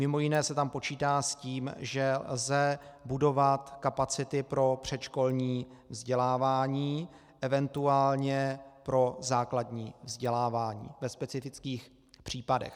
Mimo jiné se tam počítá s tím, že lze budovat kapacity pro předškolní vzdělávání, eventuálně pro základní vzdělávání ve specifických případech.